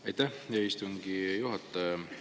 Aitäh, hea istungi juhataja!